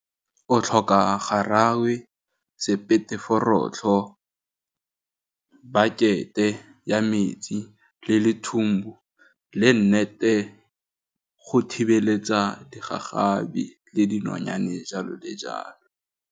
O tlhoka garawe, sepete forotlho, bucket-e ya metsi le lethumbu, le nnete go thibeletsa digagabi le dinonyane jalo le jalo.